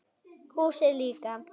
Húsið líka.